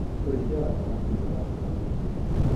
ũrĩithia wa thamaki nĩũrakũra naihenya